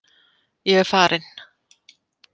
Ég er farinn